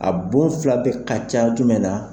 A bon fila bɛ ka ca jumɛn na